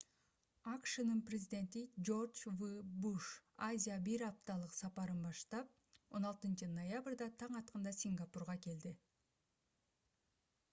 акшнын президенти жорж в буш азияга бир апталык сапарын баштап 16-ноябрда таң атканда сингапурга келди